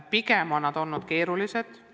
Pigem on need olnud keerulised.